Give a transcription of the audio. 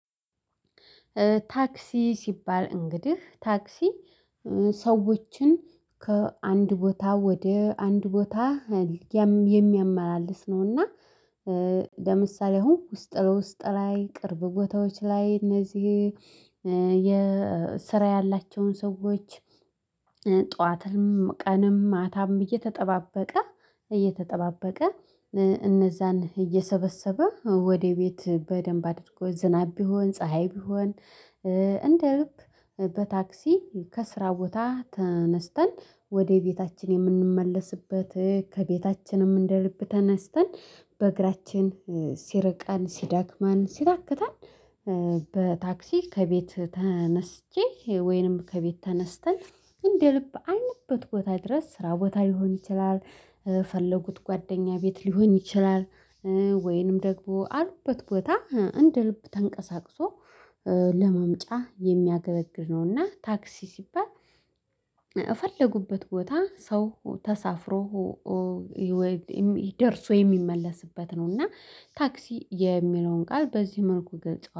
ታክሲ ሲባል እንግዲህ ታክሲ ሰዎችን ከአንድ ቦታ ወደ አንድ ቦታ የሚያመላልስ ነውና። ለምሳሌ አሁን ውስጥ ለውስጥ ላይ ቅርብ ጎታዎች ላይ እነዚህ የስራ ያላቸውን ሰዎች። ጠዋትንም ቀንም ማታም እየተጠባበቀ እየተጠባበቀ እነዛን እየሰበሰበ ወደ ቤት በደንብ አድርጎ ዝናብ ቢሆን ፀሀይ ቢሆን። እንደ በታክሲ ከስራ ቦታ ተነስተን ወደ ቤታችን የምንመለስበት ከቤታችንም እንደ ልብ ተነስተን በእግራችን ሲርቀን ሲደክማን ሲታክተል። በታክሲ ከቤት ተነስቼ ወይንም ከቤት ተነስተን እንደ ልብ አይንበት ቦታ ድረስ ስራ ቦታ ሊሆን ይችላል። የፈለጉት ጓደኛ ቤት ሊሆን ይችላል። ወይንም ደግሞ አሉበት ቦታ እንደ ልብ ተንቀሳቅሶ ለመምጫ የሚያገበግብ ነውና ታክሲ ሲባል። በፈለጉበት ቦታ ሰው ተሳፍሮ ደርሰው የሚመለሱበት ነው። እና ታክሲ የሚለውን ቃል በዚህ መልኩ ገልፀዋለሁ